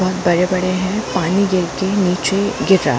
-- बहोत बड़े-बड़े है पानी गिर के नीचे गिर रहा है।